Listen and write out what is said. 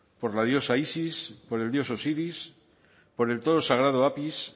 por la diosa isis por el dios osiris por el toro sagrado apis